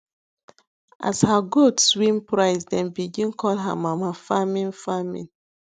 as her goats win prize dem begin call her mama farming farming